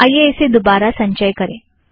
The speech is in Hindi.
आइए इसे दोबारा संचय करें